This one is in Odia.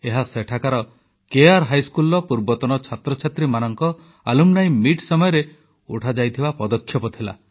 ଏହା ସେଠାକାର କେଆର୍ ହାଇସ୍କୁଲର ପୂର୍ବତନ ଛାତ୍ରଛାତ୍ରୀଙ୍କ ଆଲୁମ୍ନି ମିଟ୍ ସମୟରେ ନିଆଯାଇଥିବା ପଦକ୍ଷେପ ଥିଲା